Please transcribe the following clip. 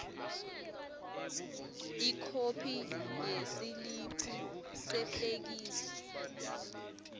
ikhophi yesiliphu sefeksi